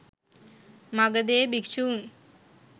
මගධයේ භික්‍ෂූන්